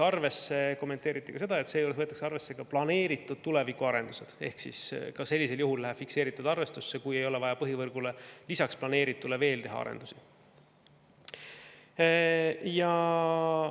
Kommenteeriti veel, et seejuures võetakse arvesse planeeritud tulevikuarendused ehk sellisel juhul on fikseeritud arvestus, kui ei ole vaja lisaks planeeritule teha põhivõrgule arendusi.